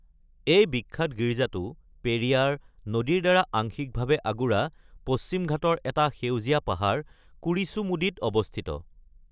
এই বিখ্যাত গীৰ্জাটো পেৰিয়াৰ (নদী)ৰ দ্বাৰা আংশিকভাৱে আগুৰা পশ্চিম ঘাটৰ এটা সেউজীয়া পাহাৰ কুৰিচুমুদিত অৱস্থিত।